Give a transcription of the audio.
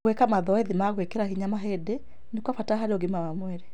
Gwĩka mazoezi ma gwĩkĩra hinya mahĩndĩ nĩ kwa bata harĩ ũgima wa mwĩrĩ.